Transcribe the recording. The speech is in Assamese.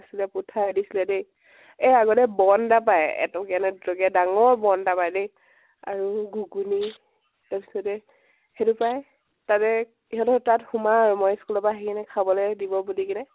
দিছিলে দেই । এই আগতে বন এটা পাই এটকীয়া নে দুটকীয়া ডাঙৰ বন এটা পাই দেই আৰু ঘুগুনী ।তাৰপিছতে সেইটো পাই । তাতে ইহতঁৰ তাত সোমাওঁ মই school ৰ পৰা আহি কেনে খাবলৈ দিব বুলি কেনে